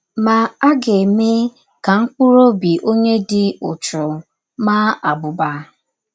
Ma, a ga - eme ka mkpụrụ ọbi ọnye dị ụchụ maa abụba. ”